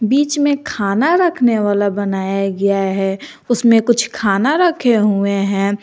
बीच में खाना रखने वाला बनाया गया है उसमें कुछ खाना रखे हुए हैं।